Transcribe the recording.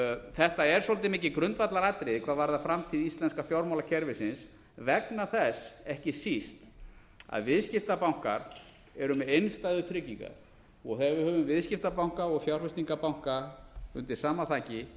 þetta er svolítið mikið grundvallaratriði hvað varðar framtíð íslenska fjármálakerfisins vegna þess ekki síst að viðskiptabankar eru með innstæðutryggingar og þegar við höfum viðskiptabanka og fjárfestingarbanka undir sama þaki